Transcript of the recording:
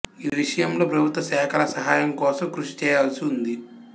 ఈ విషయంలో ప్రభుత్వ శాఖల సహాయం కోసం కృషి చేయవలసివుంది